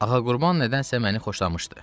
Ağa Qurban nədənsə məni xoşlamışdı.